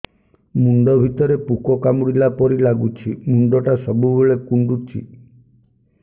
ମୁଣ୍ଡ ଭିତରେ ପୁକ କାମୁଡ଼ିଲା ପରି ଲାଗୁଛି ମୁଣ୍ଡ ଟା ସବୁବେଳେ କୁଣ୍ଡୁଚି